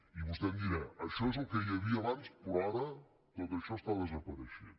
i vostè em dirà això és el que hi havia abans però ara tot això està desapareixent